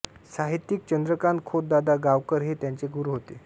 साहित्यिक चंद्रकांत खोत दादा गावकर हे त्यांचे गुरू होते